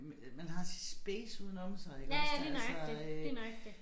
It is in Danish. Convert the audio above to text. Øh man har sit space udenom sig iggås der altså øh